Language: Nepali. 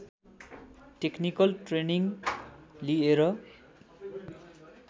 टेक्निकल ट्रेनिङ लिएर